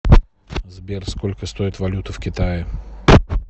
сбер сколько стоит валюта в китае